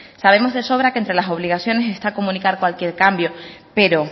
sabemos de sobra que entre las obligaciones está comunicar cualquier cambio pero